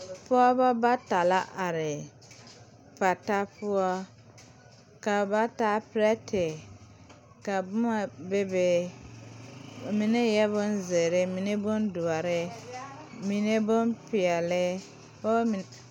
Pɔɔbɔ bata la are pata poɔ ka ba taa pirɛte ka boma bebe a mine eɛɛ bonzeere mine bondoɔre mine bonpeɛle pɔɔ meŋ.